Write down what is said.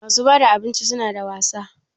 Masu bada abinci suna da wasa?